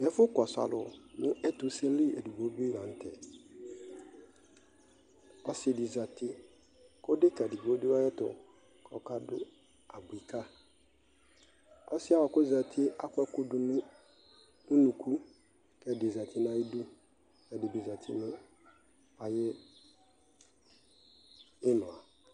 ɛƒʋ kɔsʋ alʋ nʋ ɛtʋ sɛ li ɔbɛ lantɛ, ɔsiidi zati kʋ ɛdɛka ɛdigbɔ dʋ ayɛtʋ kʋ ɔka dʋawʋɛ kayi, ɔsiiɛ kʋ ɔzatiɛ akɔ ɛkʋ dʋnʋ ʋnʋkʋ kʋ ɛdi zati nʋ ayidʋ, ɛdibizati nʋ ayi imla